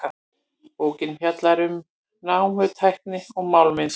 Bókin fjallar um námutækni og málmvinnslu.